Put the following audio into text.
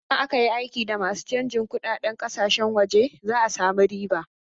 Idan aka yi aiki da masu canjin kunɗaden ƙasashen waje za a samu riba.